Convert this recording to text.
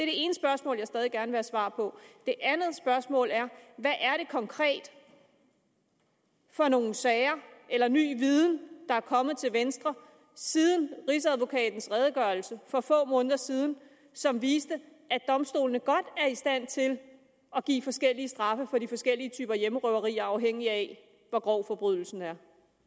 ene spørgsmål jeg stadig gerne svar på det andet spørgsmål er hvad er det konkret for nogle sager eller ny viden der er kommet til venstre siden rigsadvokatens redegørelse for få måneder siden som viste at domstolene godt er i stand til at give forskellige straffe for de forskellige typer hjemmerøveri afhængigt af hvor grov forbrydelsen er